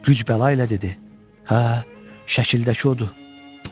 Güc-bəla ilə dedi: Hə, şəkildəki odur.